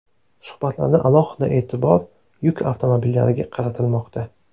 Suhbatlarda alohida e’tibor yuk avtomobillariga qaratilmoqda.